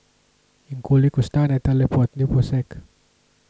In koliko stane ta lepotni poseg?